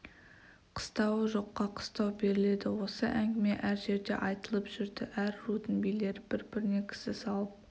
қыстауы жоққа қыстау беріледі осы әңгіме әр жерде айтылып жүрді әр рудың билері бір-біріне кісі салып